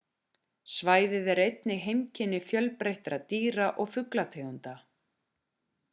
svæðið er einnig heimkynni fjölbreyttra dýra og fuglategunda